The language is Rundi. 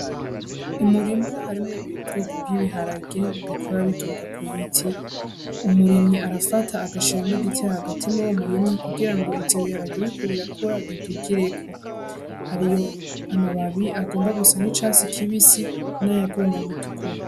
Umurima harimwo ubwoko bw'ibiharage bikura biduga ku biti. Umurimyi arafata agashiramwo igiti hagati muri uwo murima kugira ngo ivyo biharage biriko birakura bidugireko. Hari amababi agomba gusa n'icatsi kibisi, n'ayagomba gutukura.